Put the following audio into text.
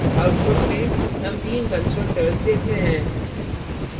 output में हम तीन constructors देखते हैं